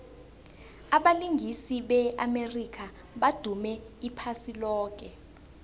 abalingisi be amerika badume iphasi loke